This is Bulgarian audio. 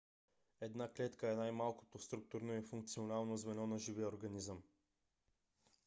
една клетка е най - малкото структурно и функционално звено на живия организъм